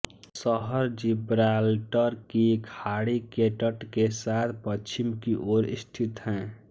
शहर जिब्राल्टर की खाड़ी के तट के साथ पश्चिम की ओर स्थित है